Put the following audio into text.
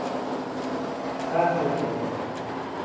Hvað ert þú að gera hér?